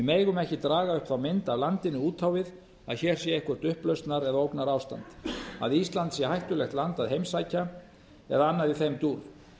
megum ekki draga upp þá mynd af landinu út á við að hér sé eitthvert upplausnar eða ógnarástand að ísland sé hættulegt land að heimsækja eða annað í þeim dúr